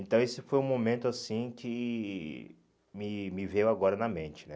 Então, esse foi um momento, assim, que me me veio agora na mente, né?